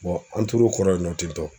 an tor'o kɔrɔ yen nɔ ten tɔ